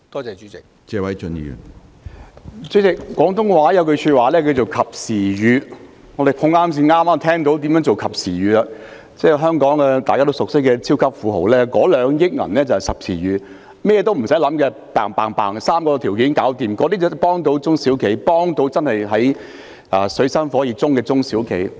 主席，廣東話有一句話是"及時雨"，我們剛巧碰到何謂及時雨的例子，就是所有香港人也熟悉的超級富豪宣布撥出2億元，不用很複雜，只要符合3個條件便可以申領，這些措施才能夠真正幫助處於水深火熱的中小企。